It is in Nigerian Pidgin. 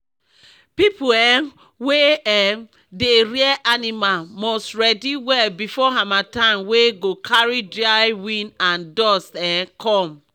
people um wey um dey rear animal must ready well before harmattan wey go carry dry wind and dust um come